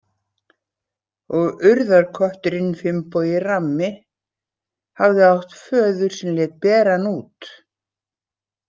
Og urðarkötturinn Finnbogi rammi hafði átt föður sem lét bera hann út.